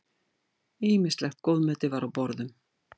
Ýmislegt góðmeti var á borðum.